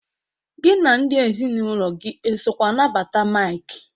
Gị na ndị ezinaụlọ gey esokwana bata Maịk!